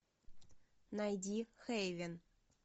найди хейвен